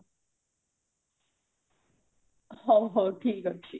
ହଉ ହଉ ଠିକ ଅଛି